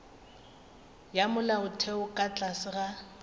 ya molaotheo ka tlase ga